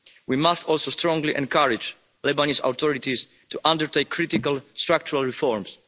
We must also strongly encourage the Lebanese authorities to undertake critical structural reforms.